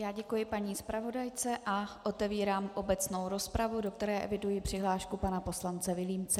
Já děkuji paní zpravodajce a otevírám obecnou rozpravu, do které eviduji přihlášku pana poslance Vilímce.